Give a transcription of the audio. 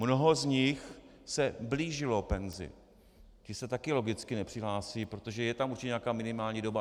Mnoho z nich se blížilo penzi, ti se taky logicky nepřihlásí, protože je tam určitě nějaká minimální doba.